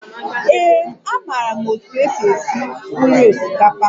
Ee, amaara m otú e si esi nri osikapa